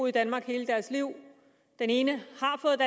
i danmark hele deres liv den ene